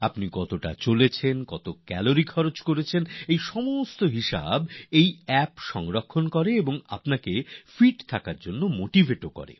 আপনি কতটা হাঁটলেন কতটা ক্যালোরিজ পুড়লো সেই সব হিসাব এই অ্যাপটি রাখে আর আপনাকে ফিট রাখার জন্য উদ্দীপ্তও করে